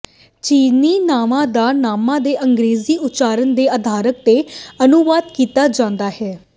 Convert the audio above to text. ਚੀਨੀ ਨਾਵਾਂ ਦਾ ਨਾਮਾਂ ਦੇ ਅੰਗਰੇਜ਼ੀ ਉਚਾਰਣ ਦੇ ਆਧਾਰ ਤੇ ਅਨੁਵਾਦ ਕੀਤਾ ਜਾਂਦਾ ਹੈ